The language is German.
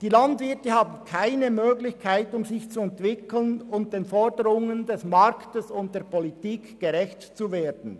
Die Landwirte haben keine Möglichkeiten, sich zu entwickeln und den Forderungen des Marktes und der Politik gerecht zu werden.